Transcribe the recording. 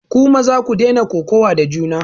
Ku maza ku daina kokawa da juna!